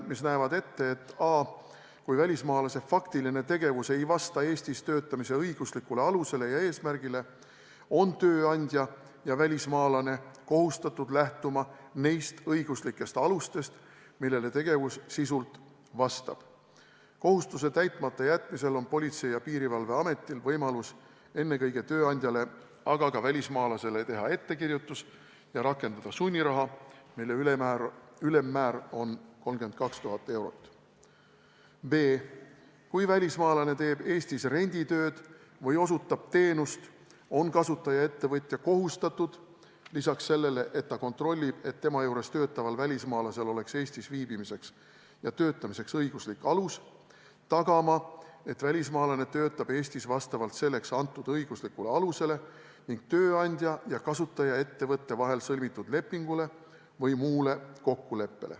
Need näevad ette, et a) kui välismaalase faktiline tegevus ei vasta Eestis töötamise õiguslikule alusele ja eesmärgile, on tööandja ja välismaalane kohustatud lähtuma nendest õiguslikest alustest, millele tegevus sisult vastab, ja kohustuse täitmata jätmisel on Politsei- ja Piirivalveametil võimalik ennekõike tööandjale, aga ka välismaalasele teha ettekirjutus ja rakendada sunniraha, mille ülemmäär on 32 000 eurot; b) kui välismaalane teeb Eestis renditööd või osutab teenust, on kasutajaettevõtja kohustatud lisaks sellele, et ta kontrollib, et tema juures töötaval välismaalasel oleks Eestis viibimiseks ja töötamiseks õiguslik alus, tagama, et välismaalane töötab Eestis vastavalt selleks antud õiguslikule alusele ning tööandja ja kasutajaettevõtte vahel sõlmitud lepingule või muule kokkuleppele.